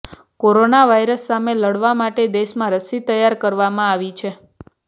corona virus સામે લડવા માટે દેશમાં રસી તૈયાર કરવામાં આવી છે